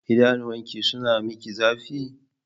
Idanuwanki suna miki zafi?